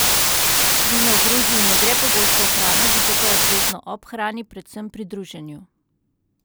Vino v Gruziji ne gre pogosto v hrano, zato pa je obvezno ob hrani, predvsem pri druženju.